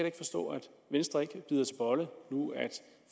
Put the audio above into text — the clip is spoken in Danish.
ikke forstå at venstre ikke bider til bolle